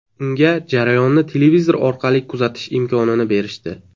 Unga jarayonni televizor orqali kuzatish imkonini berishdi.